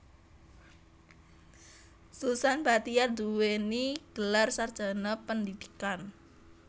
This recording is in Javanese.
Susan Bachtiar nduwèni gelar sarjana pendhidhikan